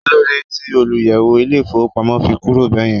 kílódé ti olùyẹ̀wò ilé ifowópamọ́ fi kúrò bẹ́ẹ̀yẹn